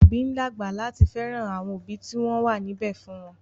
Àwọn òbí ń dàgbà láti fẹ́ràn àwọn òbí tí wọ́n wà níbẹ̀ fún wọn